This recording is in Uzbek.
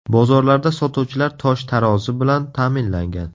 Bozorlarda sotuvchilar tosh-tarozi bilan ta’minlangan.